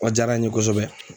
Ɔ diyara n ye kosɛbɛ